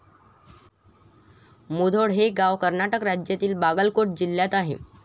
मुधोळ हे गाव कर्नाटक राज्यातील बागलकोट जिल्ह्यात आहे.